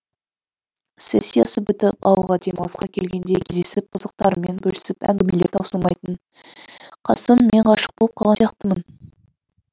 сессиясы бітіп ауылға демалысқа келгенде кездесіп қызықтарымен бөлісіп әңгімелері таусылмайтын қасым мен ғашық болып қалған сияқтымын